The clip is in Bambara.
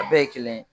A bɛɛ ye kelen ye